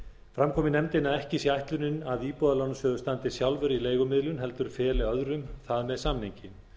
fram kom í nefndinni að ekki sé ætlunin að íbúðalánasjóður standi sjálfur í leigumiðlun heldur feli öðrum það með samningi